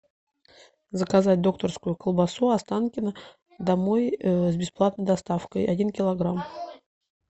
заказать докторскую колбасу останкино домой с бесплатной доставкой один килограмм